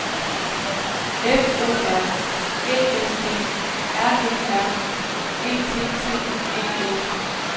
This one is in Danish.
F O R Æ L D R E R E T T E N